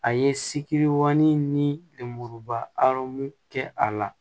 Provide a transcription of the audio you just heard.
A ye siki ŋani ni lemuruba arɔn kɛ a la